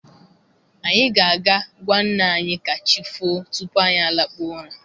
Anyị ga aga gwa nna anyị ka chifoo tupu anyị a lakpuo ụra.